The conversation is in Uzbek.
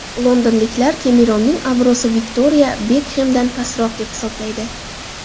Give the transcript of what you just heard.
Londonliklar Kemeronning obro‘si Viktoriya Bekxemdan pastroq deb hisoblaydi.